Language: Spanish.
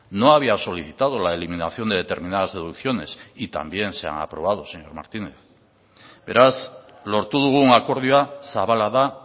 no había solicitado la eliminación de determinadas deducciones y también se han aprobado señor martínez beraz lortu dugun akordioa zabala da